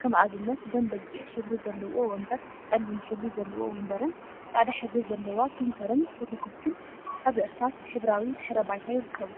ከም አብነት ደም በጊዕ ሕብሪ ዘለዎ ወንበር፣ ፀሊም ሕብሪ ዘለዎ ወንበርን ፃዕዳ ሕብሪ ዘለዋ ፕሪንተርን ፎቶ ኮፒን አብ እርሳስ ሕብራዊ ድሕረ ባይታ ይርከቡ፡፡